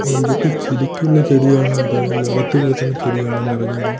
ഇതൊക്കെ ശരിക്കുള്ള ചെടിയാണോ അതോ അകത്തു വളർത്തുന്ന ചെടിയാണോ എന്ന് അറിഞ്ഞുകൂടാ.